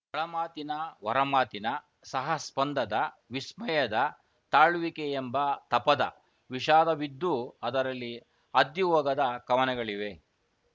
ಒಳಮಾತಿನ ಹೊರಮಾತಿನ ಸಹಸ್ಪಂದದ ವಿಸ್ಮಯದ ತಾಳುವಿಕೆಯೆಂಬ ತಪದ ವಿಷಾದವಿದ್ದೂ ಅದರಲ್ಲಿ ಅದ್ದಿಹೋಗದ ಕವನಗಳಿವೆ